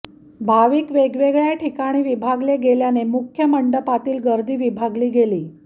भाविक वेगवेगळ्या ठिकाणी विभागले गेल्याने मुख्य मंडपातील गर्दी विभागली गेली